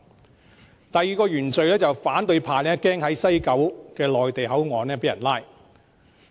至於第二個原罪，是反對派害怕在西九內地口岸被拘捕。